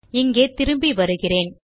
இங்கே திரும்பி வருகிறேன்